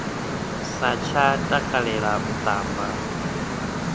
sa tsha takalela u tamba